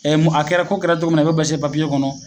Ɛ mun a kɛra ko kɛra cɔgo mun na i b'o sɛɛbɛn papiye kɔnɔ